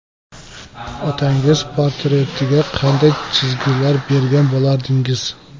Otangiz portretiga qanday chizgilar bergan bo‘lardingiz?